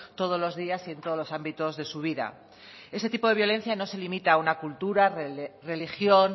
todos los días y en todos los ámbitos de su vida este tipo de violencia no se limita a una cultura religión